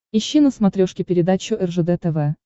ищи на смотрешке передачу ржд тв